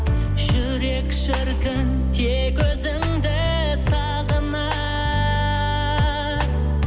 жүрек шіркін тек өзіңді сағынар